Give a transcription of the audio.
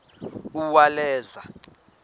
uwaleza